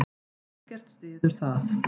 Ekkert styður það.